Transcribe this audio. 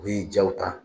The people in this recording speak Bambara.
U bi jaw ta